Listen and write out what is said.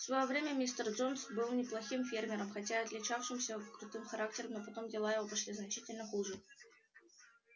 в своё время мистер джонс был неплохим фермером хотя отличавшимся крутым характером но потом дела его пошли значительно хуже